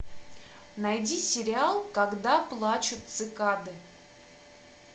найди сериал когда плачут цикады